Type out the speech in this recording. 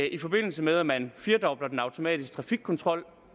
i forbindelse med at man firdobler den automatiske trafikkontrol